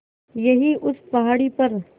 यहीं उस पहाड़ी पर